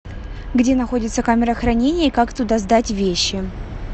где находится камера хранения и как туда сдать вещи